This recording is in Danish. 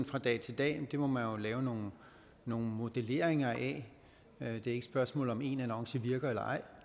fra dag til dag det må man lave nogle nogle modelleringer af det er ikke et spørgsmål om om én annonce virker eller ej